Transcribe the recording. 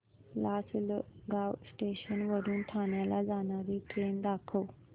Lasalgaon station वरून ठाण्याला जाणारी ट्रेन दाखव